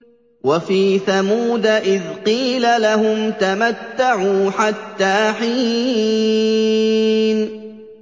وَفِي ثَمُودَ إِذْ قِيلَ لَهُمْ تَمَتَّعُوا حَتَّىٰ حِينٍ